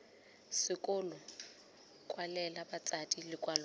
sekolo kwalela batsadi lekwalo la